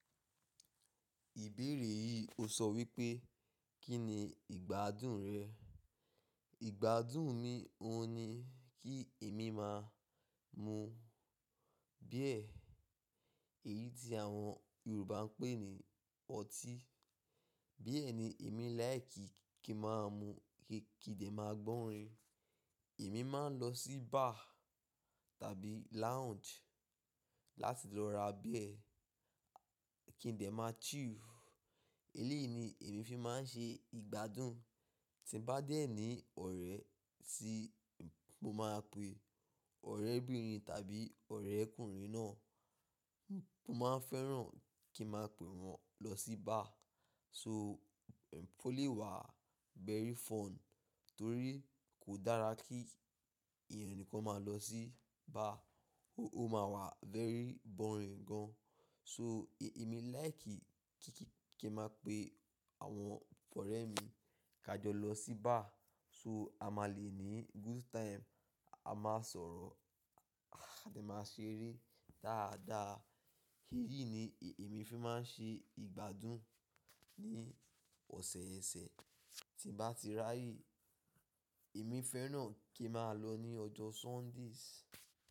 Ìbéèrè yìí o sọ wípé, kín ni ìgbádùn rẹ? Ìgbádùn mi òun ni kí èmi máa mú beer. Èyí tí àwọn Yorùbá ń pè ní ọtí. Beer ni èmi like kí máa mú kí n dẹ máa gbọ́rin. Èmi máa ń lọ sí bar tàbí lounge láti lọ ra beer kí n dẹ máa chill. Eléèni èmi fi máa ń ṣe ìgbádùn. Tí n bá dé ni ọ̀rẹ́ tí mo máa pe ọ̀rẹ́bìnrin tàbí ọ̀rẹ́kùnrin náà, mo máa fẹ́ràn kí n máa pe wọn lọ sí bar. So, ó lè wà very fun torí kò dára kí ènìyàn nìkan máa lọ sí bar. Ó máa wà very boring gan. So, èmi like kí kí kí n máa pe àwọn ọ̀rẹ́ mi ká jọ lọ sí bar. So, a máa le ní good time, a máa sọ̀rọ̀, a ti máa ṣeré dáadáa. Eyí ni èmi fi máa ń ṣe ìgbádùn ní ọ̀sẹ̀ẹ̀sẹ̀. Tí n bá ti raye, èmi fẹ́ràn kí a máa lọ ní ọjọ́ Sundays.